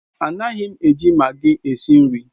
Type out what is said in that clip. Anaghị m eji maggi esi nri.